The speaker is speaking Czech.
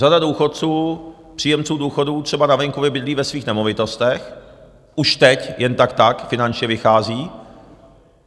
Řada důchodců, příjemců důchodů, třeba na venkově bydlí ve svých nemovitostech, už teď jen tak tak finančně vychází.